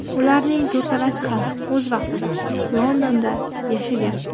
Ularning to‘rtalasi ham o‘z vaqtida Londonda yashagan.